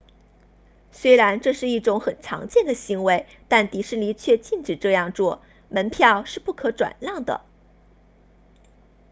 虽然这是一种很常见的行为但迪士尼却禁止这样做门票是不可转让的